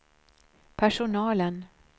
personalen